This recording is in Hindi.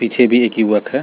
पीछे भी एक युवक है।